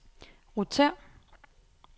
rotér